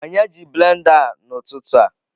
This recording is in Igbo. Onye ji blender a n'ụtụtụ a?